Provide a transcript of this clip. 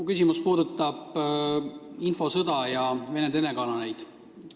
Mu küsimus puudutab infosõda ja Vene telekanaleid.